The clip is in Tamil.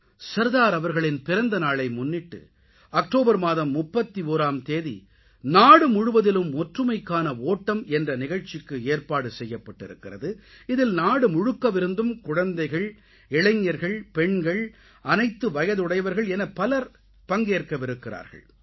சர்தார் அவர்களின் பிறந்த நாளை முன்னிட்டு அக்டோபர் மாதம் 31ஆம் தேதி நாடு முழுவதிலும் ஒற்றுமைக்கான ஓட்டம் என்ற நிகழ்ச்சிக்கு ஏற்பாடு செய்யப்பட்டிருக்கிறது இதில் நாடு முழுக்கவிருந்தும் குழந்தைகள் இளைஞர்கள் பெண்கள் அனைத்து வயதுடையவர்கள் என பலர் பங்கேற்கவிருக்கிறார்கள்